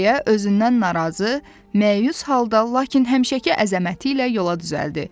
deyə özündən narazı, məyus halda, lakin həmişəki əzəməti ilə yola düzəldi.